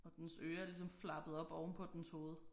Og dens ører er ligesom flappet op ovenpå dens hoved